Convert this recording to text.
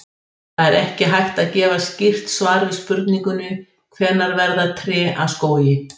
Það er ekki hægt að gefa skýrt svar við spurningunni hvenær verða tré að skógi.